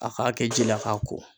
A k'a kɛ ji la k'a ko.